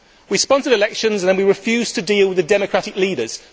We sponsored elections, and then we refused to deal with the democratic leaders.